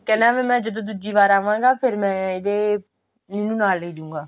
ਕਹਿੰਦਾ ਵੀ ਮੈਂ ਜਦੋਂ ਦੁੱਜੀ ਵਾਰ ਆਵਾਂਗਾ ਫਿਰ ਮੈਂ ਇਹਦੇ ਫੇਰ ਮੈਂ ਇਹਨੂੰ ਨਾਲ ਲੇਜੁਂਗਾ